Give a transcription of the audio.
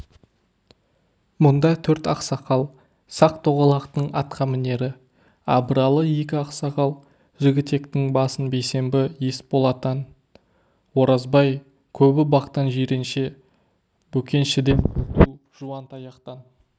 мұнда төрт ақсақал сақ-тоғалақтың атқамінері абыралы екі ақсақал жігітектің басы бейсенбі есболатан оразбай көтібақтан жиренше бөкеншіден күнту жуантаяқтан